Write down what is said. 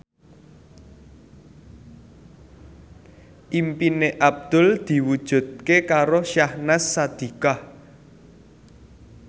impine Abdul diwujudke karo Syahnaz Sadiqah